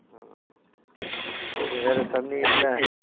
உம் இப்ப வேற தண்ணியெல்லா